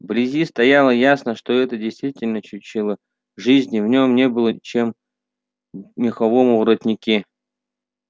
вблизи стояло ясно что это действительно чучело жизни в нём не было чем меховом воротнике